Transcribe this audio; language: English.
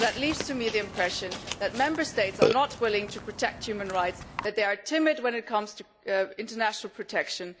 That leaves me with the impression that Member States are not willing to protect human rights, that they are timid when it comes to international protection.